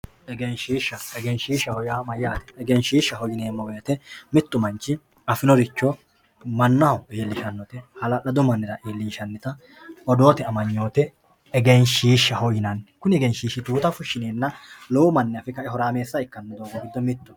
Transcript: Egenshisha egenshishaho yaa mayate egenshishaho yinemo woyite mittu manchi afinoricho manaho ilishanote hala`ladu manira iilinshanita odoote amaynote egenshishaho yinani kuni egenshishi tuuta fushinena lowo mani afe kae horaamesa ikanohu giddo mittoho.